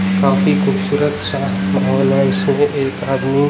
काफी खूबसूरत सा माहौल है इसको एक आदमी--